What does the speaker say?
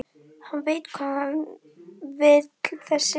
Hann veit hvað hann vill þessi!